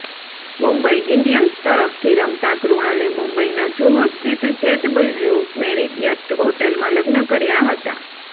Mumbai Indians તરફથી રમતા કૃણાલે મુંબઇના જૂહુ સ્થિત જેડબલ્યુ મેરિયટ હોટલમાં લગ્ન કર્યાં હતાં